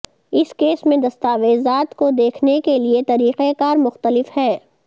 اس case میں دستاویزات کو دیکھنے کے لئے طریقہ کار مختلف ہے